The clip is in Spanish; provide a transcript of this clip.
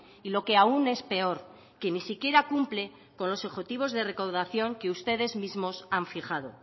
y lo que aún es peor que ni siquiera cumple con los objetivos de recaudación que ustedes mismos han fijado